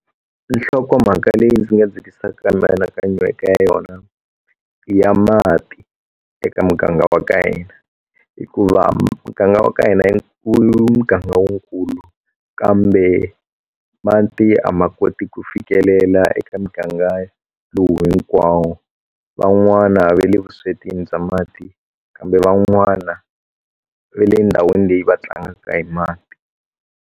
Nhlokomhaka leyi ndzi nga dzikisaka mianakanyo eka yona i ya mati eka muganga wa ka hina hikuva muganga wa ka hina muganga i muganga wukulu kambe mati a ma koti ku fikelela eka muganga lowu hinkwawo van'wana va le vuswetini bya mati kambe van'wana ve le ndhawini leyi va tlangaka hi mati.